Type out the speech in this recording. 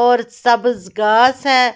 और सब्ज गास है।